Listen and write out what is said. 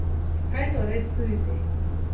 Kaj torej storiti?